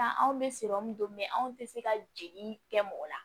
Taa anw bɛ siran min don anw tɛ se ka jeli kɛ mɔgɔ la